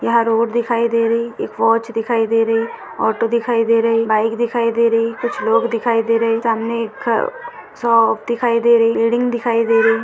यहाँ रोड दिखाई दे रही एक वॉच दिखाई दे रही ऑटो दिखाई दे रही बाइक दिखाई दे रही कुछ लोग देखे दे रही सामने एक शॉप दिखाई दे रही बिल्डिंग दिखाई दे रही।